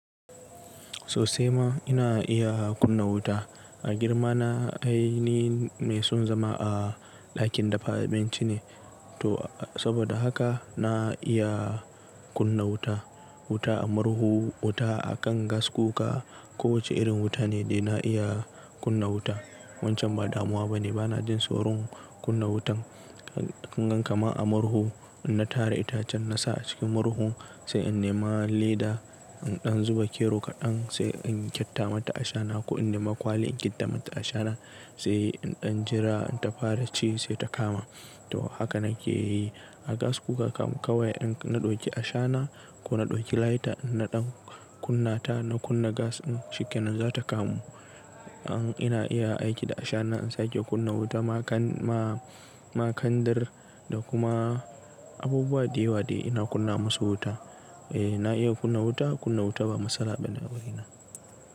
Sosai ma ina iya kunna wuta. A girma na ai ni mai son zama a ɗakin dafa abinci ne to saboda haka na iya kunna wuta. Wuta a murhu, wuta a kan gas kuka, kowace irin wuta ne dai na iya kunna wuta. Wancan ba damuwa bane. Ba na jin tsoron kunna wutan. Kungan kaman a marho, in na tara itace na sa a cikin marho, sai in nema leda in dan zuba kero kadan sai in kita mata ashana ko in nema kwalli in kita mata ashana sai n dan jira, in ta fara ci sai ta kama. To haka nake yi. A gas kuka kam kawai in na ɗauki ashana ko na ɗauki lighter na ɗan kunna ta na kunna gas in shikenan za ta kamu. An ina iya aiki da ashana in sake kunna wuta. Ma kan ma ma kandir da kuma abubuwa da yawa dai ina kunna musu wuta. Eh na iya kunna wuta, kunna wuta ba matsala bane a wurina.